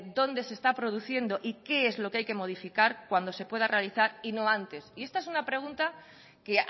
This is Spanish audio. dónde se está produciendo y qué es lo que hay que modificar cuando se pueda realizar y no antes y esta es una pregunta que